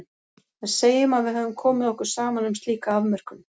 En segjum að við höfum komið okkur saman um slíka afmörkun.